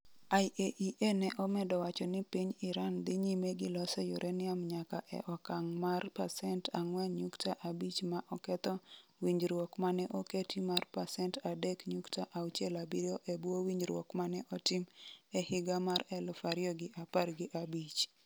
IAEA ne omedo wacho ni piny Iran dhi nyime gi loso uranium nyaka e okang' mar 4.5% - ma oketho winjruok mane oketi mar 3.67% e bwo winjruok mane otim e higa mar 2015.